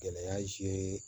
Gɛlɛya se